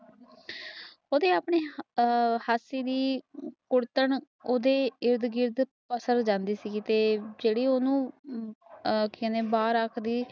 ਆਪਣੀ ਆ ਹੱਥੀ ਦੀ ਕੁੜਥਾਨ ਓਦੇ ਇਰਦ ਗਿਰਦ ਪਾਸੇ ਜਾਂਦੀ ਸੀ ਤੇ ਜੇਹੜੀ ਉਸਨੂੰ ਆ ਬਹਾਰ ਆਸ ਦੀ